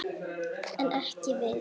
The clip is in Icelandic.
En ekki við.